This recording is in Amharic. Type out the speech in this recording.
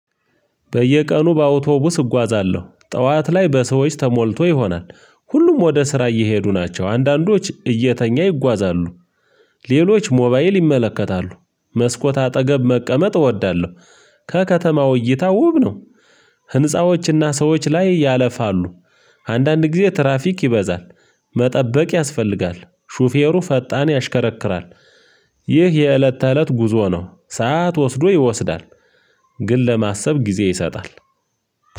በየቀኑ በአውቶቡስ እጓዛለሁ። ጠዋት ላይ በሰዎች ተሞልቶ ይሆናል። ሁሉም ወደ ስራ እየሄዱ ናቸው። አንዳንዶች እየተኙ ይጓዛሉ። ሌሎች ሞባይል ይመለከታሉ። መስኮት አጠገብ መቀመጥ እወዳለሁ። ከከተማው እይታ ውብ ነው። ህንፃዎችና ሰዎች ላይ ያለፋሉ። አንዳንድ ጊዜ ትራፊክ ይበዛል። መጠበቅ ያስፈልጋል። ሹፌሩ ፈጣን ያሽከረክራል። ይህ የእለት ተእለት ጉዞ ነው። ሰዓት ወስዶ ይወስዳል። ግን ለማሰብ ጊዜ ይሰጣል።